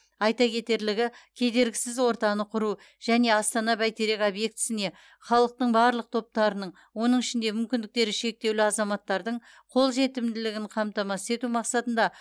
айта кетерлігі кедергісіз ортаны құру және астана бәйтерек объектісіне халықтың барлық топтарының оның ішінде мүмкіндіктері шектеулі азаматтардың қолжетімділігін қамтамасыз ету мақсатында